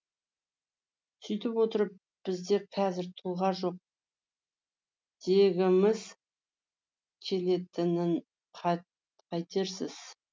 сөйтіп отырып бізде қазір тұлға жоқ дегіміз келетінін қайтерсіз